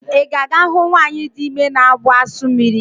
Ị ga-aga ahụ nwanyị dị ime na-abụ asụ mmiri?